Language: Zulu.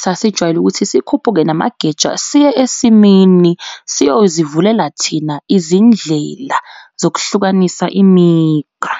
sasijwayele ukuthi sikhuphuke namageja siye esimini siyozivulela thina izindlela sokuhlukanisa imigqa.